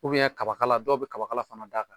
kabakala dɔw bɛ kabakala fana d'a kan.